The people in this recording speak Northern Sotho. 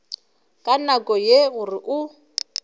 ka nako ye gore o